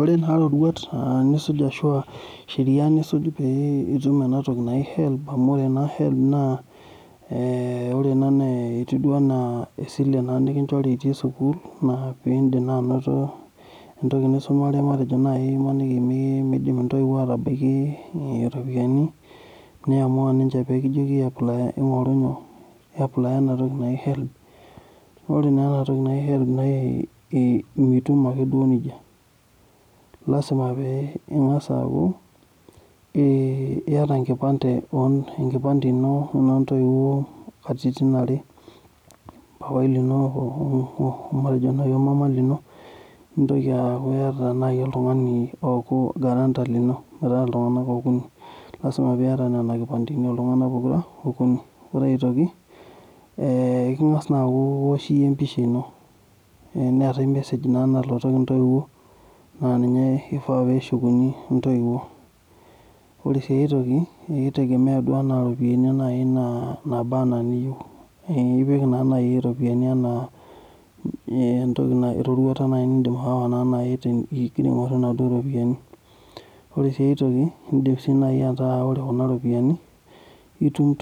Ore taa sherai ashu roruat nisuj pee ituim enatoki naji HELB amu ore naa ena etiu duo ena esile nikinchori itii sukul pee eitumia naa entoki nisumare maniki meidim ntoiwuo atalak ropiyiani ,neamua naa ninche nikijoki yapalaya ena toki naji HELB naa ore naa enatoki naji HELB mitum ake duo nejia lasima pee ingas aaku lasima pee iyata enkipante ino wenoo ntoiwuo katitin are paipai lino omana lino nintoki aaku iyata naaji oltungani ooku garanta lino metaa iltunganak okuni ,lasima pee ieyata nina kipanteni oltunganak okuni .ore aitoki ingas iyieu niwosh empisha ino neetae emesej nalotoki ntoiwuo aa ninye eifaa pee eshukuni ntoiwuo ,ore sii aitoki kitegemea naaji oropiyiani nana enaa niyieu ,nipik iropiyiani ena erorwata nindim aawa ingira aaingor naduo ropiyiani. ore sii aitoki indim naaji ataba ore kuna ropiyiani itum